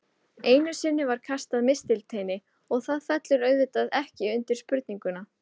Einu sinni var kastað mistilteini og það fellur auðvitað ekki undir spurninguna.